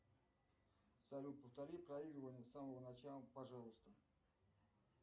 салют повтори проигрывание с самого начала пожалуйста